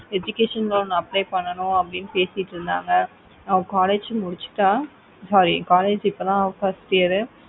education loan apply பண்ணுனோம்னு பேசிட்டு இருந்தாங்க அவ college முடிச்சிட்டா sorry college இப்போதான் first year